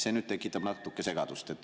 See tekitab natuke segadust.